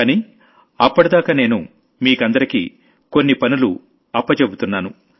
కానీ అప్పటిదాకా నేను మీకందరికీ కొన్ని పనులు అప్పజెబుతున్నాను